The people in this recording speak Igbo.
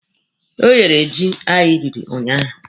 O yere ji anyị riri ụnyaahụ.